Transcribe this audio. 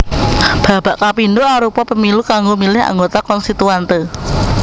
Babak kapindho arupa Pemilu kanggo milih anggota Konstituante